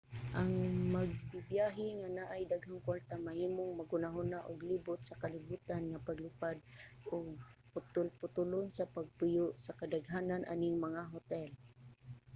ang magbibyahe nga naay daghang kwarta mahimong maghunahuna og libot sa kalibutan nga paglupad ug putol-putolon sa pagpuyo sa kadaghanan aning mga hotel